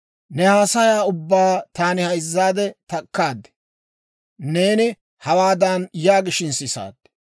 «Ne haasayaa ubbaa taani hayzzaadde takkaad; neeni hawaadan yaagishin sisaad;